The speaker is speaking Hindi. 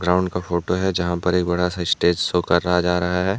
ग्राउंड का फोटो है जहां पर एक बड़ा सा स्टेज शो करा जा रहा है।